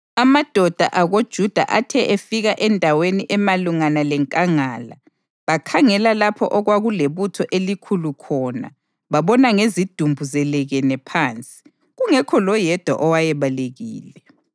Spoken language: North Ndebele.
Amadoda akoJuda athe efika endaweni emalungana lenkangala bakhangela lapho okwakulebutho elikhulu khona babona ngezidumbu zelekene phansi, kungekho loyedwa owayebalekile.